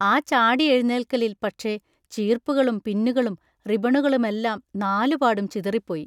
ആ ചാടിയെഴുന്നേൽക്കലിൽ പക്ഷെ ചീർപ്പുകളും പിന്നുകളും റിബണുകളുമെല്ലാം നാലുപാടും ചിതറിപ്പോയി.